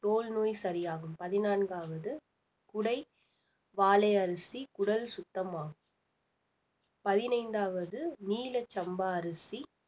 தோல் நோய் சரியாகும் பதினான்காவது குடை வாலை அரிசி குடல் சுத்தமாகும் பதினைந்தாவது நீல சம்பா அரிசி